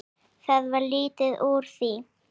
Það varð lítið úr því.